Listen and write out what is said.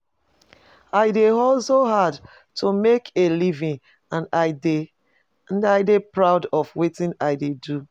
I dey hustle hard to make a living, and i dey and i dey proud of wetin i dey do.